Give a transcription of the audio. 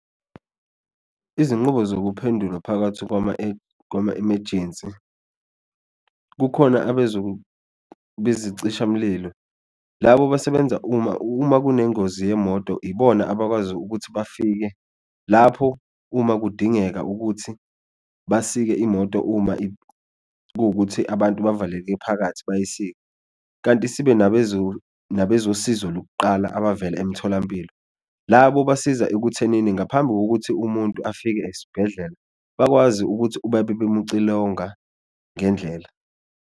Izinqubo zokuphendulwa phakathi kwama-emejensi kukhona bezicishamlilo labo basebenza uma uma kunengozi yemoto ibona abakwazi ukuthi bafike lapho uma kudingeka ukuthi basike imoto, uma kuwukuthi abantu bavaleke phakathi bayisike. Kanti sibe nabezosizo lokuqala abavela emtholampilo labo basiza ekuthenini ngaphambi kokuthi umuntu afike esibhedlela, bakwazi ukuthi babe bemucilonga ngendlela.